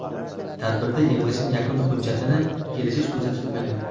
Tadbirda yig‘ilishning yakuniy hujjatini kelishish ko‘zda tutilmagan.